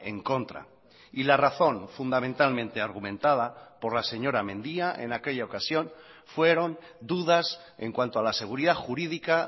en contra y la razón fundamentalmente argumentada por la señora mendia en aquella ocasión fueron dudas en cuanto a la seguridad jurídica